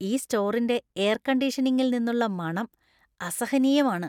ഈ സ്റ്റോറിന്‍റെ എയർ കണ്ടീഷനിംഗിൽ നിന്നുള്ള മണം അസഹനീയമാണ്.